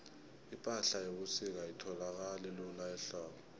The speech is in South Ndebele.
ipahla yebusika ayitholakali lula ehlobo